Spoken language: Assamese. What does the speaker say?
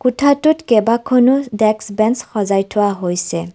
কোঠাটোত কেইবাখনো ডেস্ক-বেঞ্চ সজাই থোৱা হৈছে।